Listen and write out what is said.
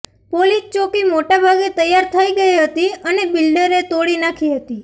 police ચોકી મોટા ભાગે તૈયાર થઇ ગઇ હતી અને બિલ્ડરે તોડી નાખી હતી